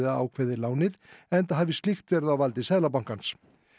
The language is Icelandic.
ákveðið lánið enda hafi slíkt verið á valdi Seðlabankans